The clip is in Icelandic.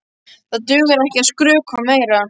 Það dugar ekki að skrökva meira.